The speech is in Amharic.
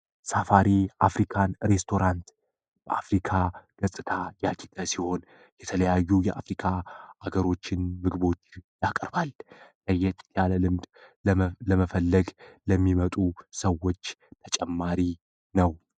Safari african restaurant የተለያዩ የአፍሪካ ሀገሮችን ምግቦች ያቀርባል ለየት ያለ ልምድ በመፈለግ ለሚመጡ ሰዎች ተጨማሪ ነው።